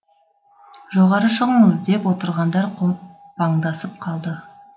жоғары шығыңыз деп отырғандар қопаңдасып қалды